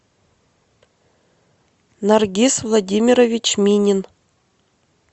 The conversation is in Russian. наргиз владимирович минин